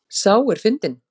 Sá er fyndinn!